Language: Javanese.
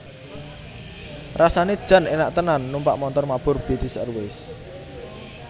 Rasane jan enak tenan numpak montor mabur British Airways